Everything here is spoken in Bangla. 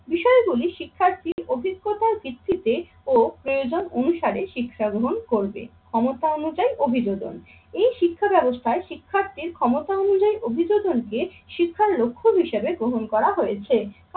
বিষয়গুলি শিক্ষার্থীর অভিজ্ঞতার ভিত্তিতে ও প্রয়োজন অনুসারে শিক্ষা গ্রহণ করবে। ক্ষমতা অনুযায়ী অভিযোজন, এই শিক্ষা ব্যাবস্থায় শিক্ষার্থীর ক্ষমতা অনুযায়ী অভিজ্ঞতা শিক্ষার লক্ষ্য হিসাবে গ্রহণ করা হয়েছে